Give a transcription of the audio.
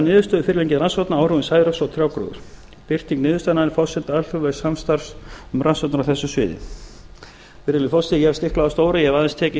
fyrirliggjandi rannsókna á áhrifum særoks á trjágróður birting niðurstaðnanna er forsenda alþjóðlegs samstarfs um rannsóknir á þessu sviði virðulegi forseti ég hef stiklað á stóru ég